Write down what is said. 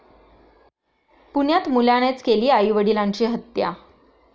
पुण्यात मुलानेच केली आई वडिलांची हत्या